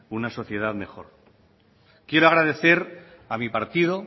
una sociedad mejor quiero agradecer a mi partido